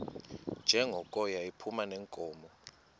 njengoko yayiphuma neenkomo